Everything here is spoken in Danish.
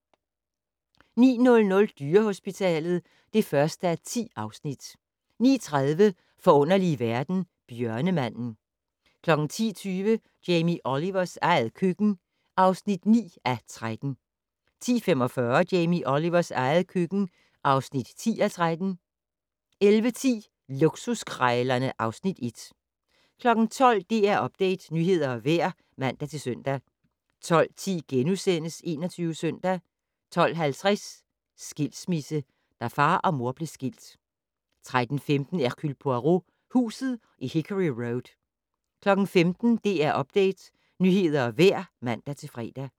09:00: Dyrehospitalet (1:10) 09:30: Forunderlige verden - Bjørnemanden 10:20: Jamie Olivers eget køkken (9:13) 10:45: Jamie Olivers eget køkken (10:13) 11:10: Luksuskrejlerne (Afs. 1) 12:00: DR Update - nyheder og vejr (man-søn) 12:10: 21 Søndag * 12:50: Skilsmisse - da far og mor blev skilt 13:15: Hercule Poirot: Huset i Hickory Road 15:00: DR Update - nyheder og vejr (man-fre)